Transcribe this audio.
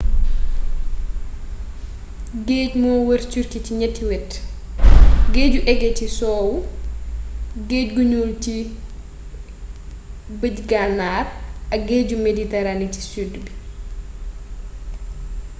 géej moo wër turquie ci ñatti wet : géeju égée ci sowwu géej gu ñuul gi ci bëj gànnaar ak géeju méditerranée ci sud bi